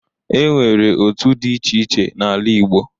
E nwere otu dị iche iche n'ala Igbo.